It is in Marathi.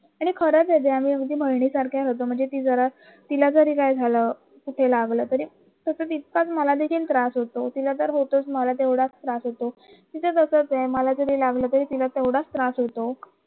हे खरंच आम्ही दोघी बहिणींसारखं होतं तरी काय झालं काय लागलं इतकाच मला देखील त्रास होतो मला तेवढाच त्रास होतो तिचं तसं ते मला जरी लागलं तरी तिला पण त्रास होतो